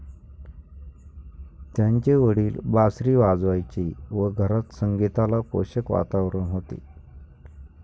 त्यांचे वडील बासरी वाजवायचे व घरात संगीताला पोषक वातावरण होते.